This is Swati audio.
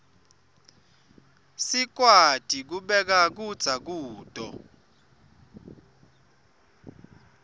sikwati kubeka kudza kuto